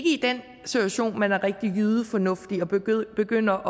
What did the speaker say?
i den situation man er rigtig jydefornuftig og begynder